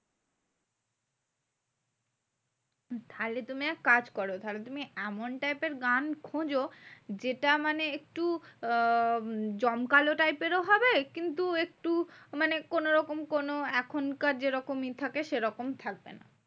তাহলে তুমি এক কাজ করো। তাহলে তুমি এমন type এর গান খোঁজো, যেটা মানে একটু আহ জমকালো type এরও হবে। কিন্তু একটু মানে কোনোরকম কোনো এখনকার যেরকম ই থাকে সেরকম থাকবে না।